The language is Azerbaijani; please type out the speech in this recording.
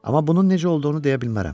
Amma bunun necə olduğunu deyə bilmərəm.